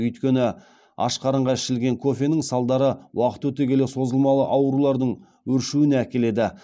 өйткені ашқарынға ішілген кофенің салдары уақыт өте келе созылмалы аурулардың өршуіне әкеледі